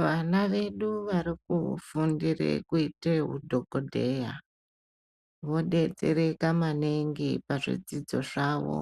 Vana vedu varikufundire kuite udhokodheya vodetsereka maningi pazvidzidzo zvavo